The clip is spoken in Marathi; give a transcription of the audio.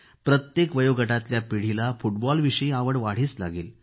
प्रत्येक वयोगटातल्या पिढीला फुटबॉलविषयी आवड वाढीस लागेल